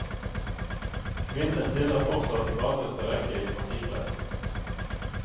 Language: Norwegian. Kvinnene stiller fortsatt i bakerste rekke i partipressen.